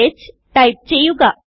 h type ചെയ്യുക